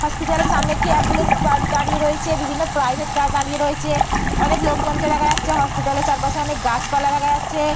Hospital এর সামনে একটি অ্যাম্বুলেন্স গাড়ি দাঁড়িয়ে রয়েছে। বিভিন্ন প্রাইভেট কার দাঁড়িয়ে রয়েছে। অনেক লোকজনকে দেখা যাচ্ছে। হসপিটাল এর চারপাশে অনেক গাছপালা দেখা যাচ্ছে।